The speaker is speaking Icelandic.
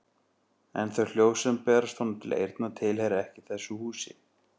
En þau hljóð sem berast honum til eyrna tilheyra ekki þessu húsi.